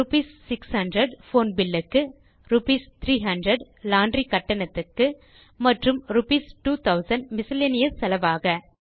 rupees 600 phone bill க்கு rupees 300 laundry கட்டணத்துக்கு மற்றும் ரூப்பீஸ் 2000 மிஸ்செலேனியஸ் செலவாக